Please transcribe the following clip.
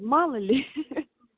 мало ли ха-ха